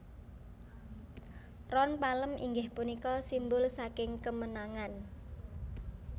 Ron palem inggih punika simbul saking kemenangan